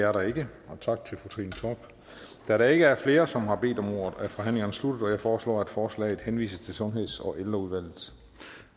er der ikke så tak til fru trine torp da der ikke er flere som har bedt om ordet er forhandlingen sluttet jeg foreslår at forslaget henvises til sundheds og ældreudvalget